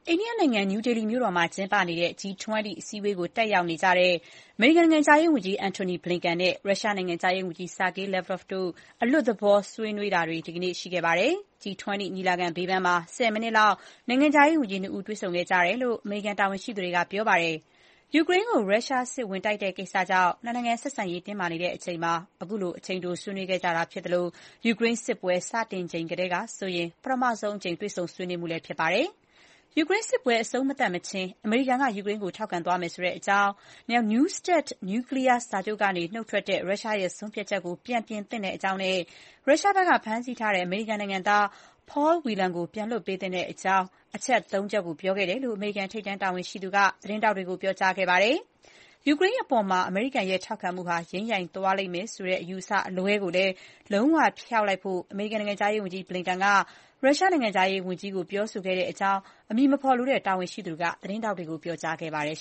အိန္ဒိယနိုင်ငံ နယူးဒေလီမြို့တော်မှာကျင်းပနေတဲ့ G 20 အစည်းအဝေးတက်နေတဲ့ အမေရိကန်နိုင်ငံခြားရေးဝန်ကြီး Antony Blinken နဲ့ ရုရှားနိုင်ငံခြားရေးဝန်ကြီး Sergey Lavrov တို့ အလွတ်သဘောဆွေးနွေးခဲ့ကြပါတယ်။ G-20 ညီလာခံ ဘေးပန်းမှာ ၁၀ မိနစ်လောက် နိုင်ငံခြားရေးဝန်ကြီး ၂ ယောက် တေ့ွဆုံခဲ့ကြတယ်လို့ အမေရိကန်တာဝန်ရှိသူတွေ ပြောပါတယ်။ ယူကရိန်းကို ရုရှားစစ်ဝင်တိုက်တဲ့ကိစ္စကြောင့် ၂ နိုင်ငံ ဆက်ဆံရေး တင်းမာနေချိန်မှာ ခုလို အချိန်တိုဆွေးနွေးခဲ့တာဖြစ်သလို ယူကရိန်းစစ်ပွဲ စတင်ချိန်ထဲကဆိုရင် ပထမဆုံးအကြိမ် တေ့ွဆုံဆွေးနွေးမှုလည်း ဖြစ်ပါတယ်။ ယူကရိန်းစစ်ပွဲ အဆုံးမသတ်မချင်း အမေရိကန်က ယူကရိန်းကို ထောက်ခံသွားမယ်ဆိုတဲ့အကြောင်း၊ New START နျူးကလီးယားစာချုပ်ကနေနှုတ်ထွက်တဲ့ ရုရှားဆုံးဖြတ်ချက်ကို ပြန်ပြင်သင့်ကြောင်းနဲ့ ရုရှားက ဖမ်းဆီးထားတဲ့ အမေရိကန်နိုင်ငံသား Paul Whelan ကို ပြန်လွှတ်ပေးသင့်တဲ့အကြောင်းစတဲ့ အချက် ၃ ခုကို ပြောခဲ့တယ်လို့ အမေရိကန်ထိပ်တန်းတာဝန်ရှိသူက သတင်းထောက်တွေကို ပြောကြားခဲ့ပါတယ်။ ယူကရိန်းအပေါ် အမေရိကန်ရဲ့ ထောက်ခံမှုဟာ ယိမ်းယိုင်သွားလိမ့်မယ်ဆိုတဲ့ အယူအဆအလွဲကိုလည်းလုံးဝ ဖျောက်လိုက်ဖို့ အမေရိကန်နိုင်ငံခြားရေးဝန်ကြီး Bliken က ရုရှားနိုင်ငံခြားရေးဝန်ကြီး Lavrov ကို ပြောခဲ့တယ်လို့ အမည်မဖော်လိုတဲ့ တာဝန်ရှိသူက သတင်းထောက်တွေကို ပြောကြားခဲ့ပါတယ်